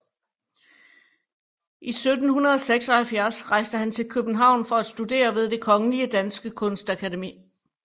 I 1776 rejste han til København for at studere ved Det Kongelige Danske Kunstakademi